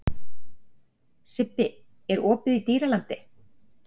Sibbi, er opið í Dýralandi?